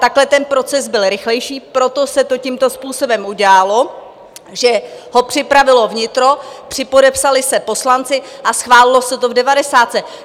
Takhle ten proces byl rychlejší, proto se to tímto způsobem udělalo, že ho připravilo vnitro, připodepsali se poslanci a schválilo se to v devadesátce.